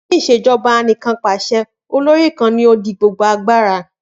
Ni ìṣèjọba Anìkanpàṣẹ, kan nikan olori di gbogbo agbara.